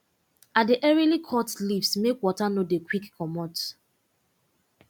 i dey earily cut leaves make water no dey quick comot